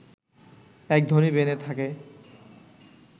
এক ধনী বেনে থাকে